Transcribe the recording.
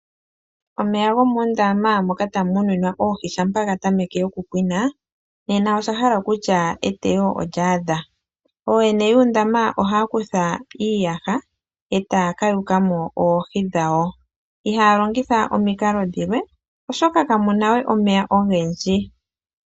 Omeya gomoondama moka tamu muninwa oohi shampa ga tameke okupwina, nena oshahala kutya eteyo olya adha. Ooyene yuundama ohaya kutha iiyaha, e taya ka yukamo oohi dhawo. Ihaya longitha omikalo dhilwe, oshoka kamu na we omeya ogendji.